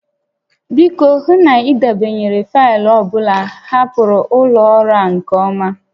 Biko, hụ na ị debanyere faịlụ ọ bụla hapụrụ ụlọ ọrụ a nke ọma